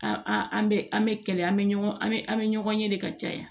An an an bɛ an bɛ kɛlɛ an bɛ ɲɔgɔn an bɛ an bɛ ɲɔgɔn ye de ka caya